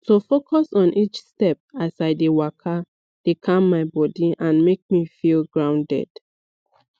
to focus on each step as i dey waka dey calm my body and make me feel grounded